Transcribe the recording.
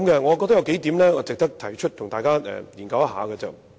我認為有數點值得提出一起研究。